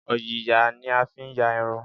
Òyìyà ní a fi ń yà irun